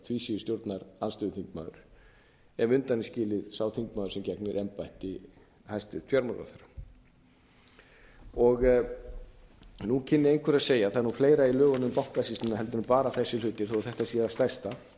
einn einasti stjórnarþingmaður því síður stjórnarandstöðuþingmaður ef undan er skilinn sá þingmaður sem gegnir embætti hæstvirtur fjármálaráðherra nú kynni einhver að segja það er nú fleira í lögunum um bankasýsluna en bara þessir hlutir þó að þetta sé það stærsta